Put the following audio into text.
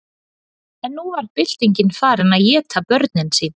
En nú var byltingin farin að éta börnin sín.